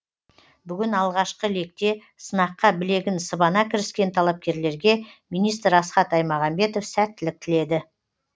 бүгін алғашқы лекте сынаққа білегін сыбана кіріскен талапкерлерге министр асхат аймағамбетов сәттілік тіледі